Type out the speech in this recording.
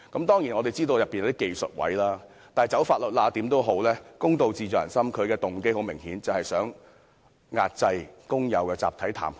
當然，我們知道當中是有一些"走法律罅"的技術位，但公道自在人心，它的動機很明顯便是要壓制工友的集體談判權。